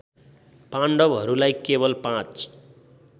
पाण्डवहरूलाई केवल पाँच